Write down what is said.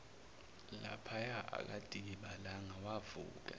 laphaya akadikibalanga wavuka